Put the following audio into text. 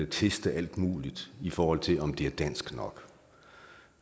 teste alt muligt i forhold til om det er dansk nok